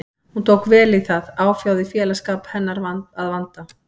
Hún tók vel í það, áfjáð í félagsskap hennar að vanda.